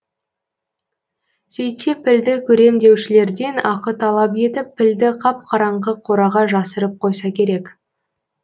сөйтсе пілді көрем деушілерден ақы талап етіп пілді қап қараңғы қораға жасырып қойса керек